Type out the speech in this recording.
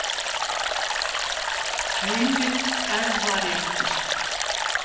Heimild: Erfðaréttur.